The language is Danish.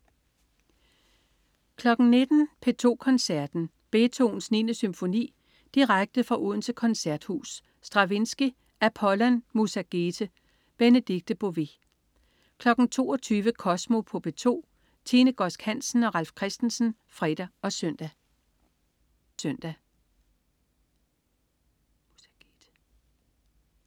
19.00 P2 Koncerten. Beethovens 9. symfoni direkte fra Odense Koncerthus. Stravinsky: Apollon Mussagète. Benedikte Bové 22.00 Kosmo på P2. Tine Godsk Hansen og Ralf Christensen (fre og søn)